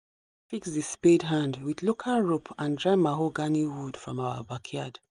baba fix the spade hand with local rope and dry mahogany wood from our backyard